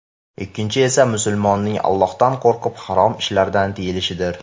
Ikkinchisi esa musulmonning Allohdan qo‘rqib harom ishlardan tiyilishidir”.